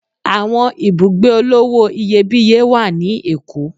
Àwọn ibùgbé olówò iyebíye wá ní Èkó.